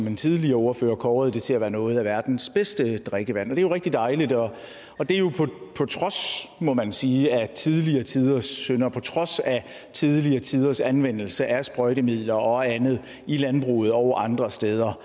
en tidligere ordfører kåret det til at være noget af verdens bedste drikkevand det er rigtig dejligt og det er jo på trods må man sige af tidligere tiders synder og på trods af tidligere tiders anvendelse af sprøjtemidler og andet i landbruget og andre steder